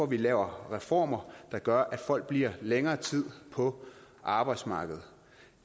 vi laver reformer der gør at folk bliver længere tid på arbejdsmarkedet